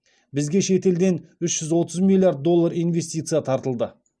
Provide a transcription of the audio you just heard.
бізге шет елден үш жүз отыз миллиард доллар инвестиция тартылды